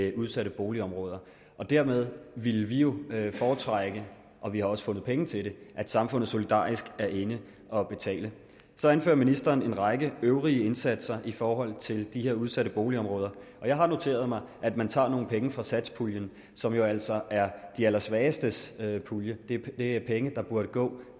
i udsatte boligområder dermed ville vi jo foretrække og vi har også fundet penge til det at samfundet solidarisk er inde at betale så anfører ministeren en række øvrige indsatser i forhold til de her udsatte boligområder og jeg har noteret mig at man tager nogle penge fra satspuljen som jo altså er de allersvagestes pulje det er penge der burde gå